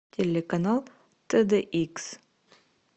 телеканал тд икс